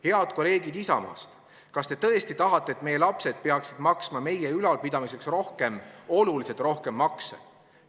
Head kolleegid Isamaast, kas te tõesti tahate, et meie lapsed peaksid maksma meie ülalpidamiseks rohkem, oluliselt rohkem makse?